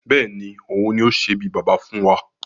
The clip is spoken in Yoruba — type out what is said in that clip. Bẹ́ẹ̀ni, òun ni ó sé bí Baba fún wa